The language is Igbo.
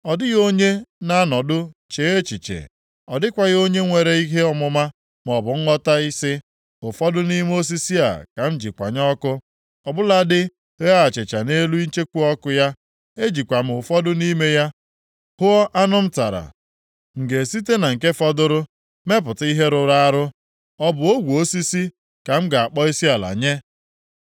Ọ dịghị onye na-anọdụ chee echiche, ọ dịghịkwa onye nwere ihe ọmụma maọbụ nghọta ị sị, “Ụfọdụ nʼime osisi a ka m ji kwanye ọkụ, Ọ bụladị ghee achịcha nʼelu icheku ọkụ ya, ejikwa m ụfọdụ nʼime ya hụọ anụ m tara. M ga-esite na nke fọdụrụ mepụta ihe rụrụ arụ? Ọ bụ ogwe osisi ka m ga-akpọ isiala nye?”